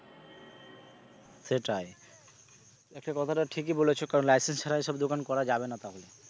সেটাই একটা কথাটা ঠিকই বলেছ কারন licence ছাড়া এসব দোকান করা যাবে না তাহলে।